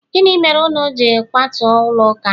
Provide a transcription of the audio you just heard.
gini mere unu ji kwatu ulo uka?